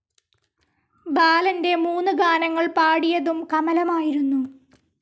ബാലൻ്റെ മൂന്ന് ഗാനങ്ങൾ പാടിയതും കമലമായിരുന്നു.